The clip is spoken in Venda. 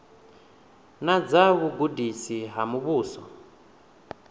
na dza vhugudisi ha muvhuso